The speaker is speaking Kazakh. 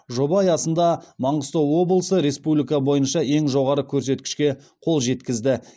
жоба аясында маңғыстау облысы республика бойынша ең жоғары көрсеткішке қол жеткізді